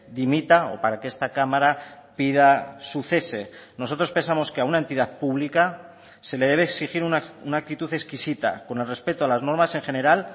dimita o para que esta cámara pida su cese nosotros pensamos que a una entidad pública se le debe exigir una actitud exquisita con el respeto a las normas en general